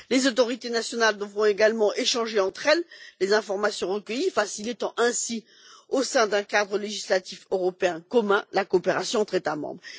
Les autorités nationales devront également échanger entre elles les informations recueillies, facilitant ainsi, au sein d'un cadre législatif européen commun, la coopération entre États membres.